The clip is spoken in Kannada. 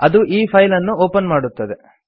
ಅದು ಈ ಫೈಲ್ ಅನ್ನು ಒಪನ್ ಮಾಡುತ್ತದೆ